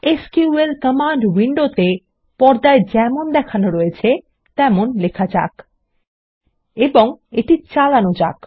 SQL command উইন্ডোতে পর্দায় যেমন দেখানো রয়েছে তেমন লেখা যাক এবং এটি চালানো যাক